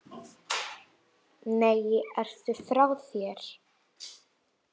Nei, ertu frá þér!